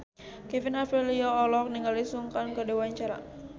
Kevin Aprilio olohok ningali Sun Kang keur diwawancara